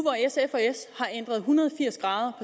hvor hundrede